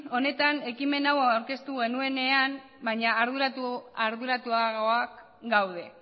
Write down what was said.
honetan ekimen hau aurkeztu genuenean baina arduratuagoak gaude